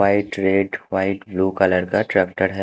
White red white blue colour का tractor है।